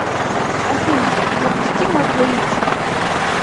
афина запусти мой плейлист